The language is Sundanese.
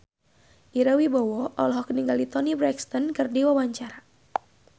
Ira Wibowo olohok ningali Toni Brexton keur diwawancara